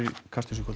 Kastljósi í kvöld